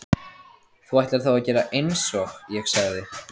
Þú ætlar þá að gera einsog ég sagði?